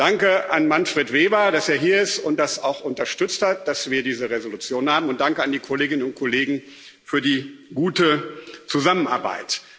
Danke an Manfred Weber, dass er hier ist und auch unterstützt hat, dass wir diese Entschließung haben, und danke an die Kolleginnen und Kollegen für die gute Zusammenarbeit!